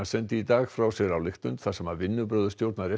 sendi í dag frá sér ályktun þar sem vinnubrögð stjórnar